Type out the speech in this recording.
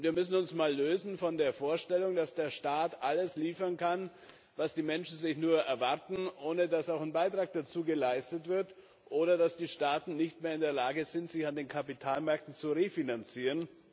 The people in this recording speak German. Wir müssen uns von der Vorstellung lösen, dass der Staat alles liefern kann, was die Menschen nur erwarten, ohne dass auch ein Beitrag dazu geleistet wird, oder dass die Staaten nicht mehr in der Lage sind, sich an den Kapitalmärkten zu refinanzieren.